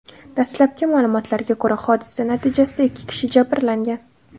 Dastlabki ma’lumotlarga ko‘ra, hodisa natijasida ikki kishi jabrlangan.